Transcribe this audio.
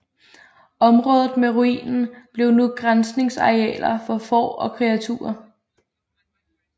Området med ruinen blev nu græsningsarealer for får og kreaturer